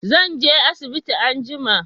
zan je asibiti anjima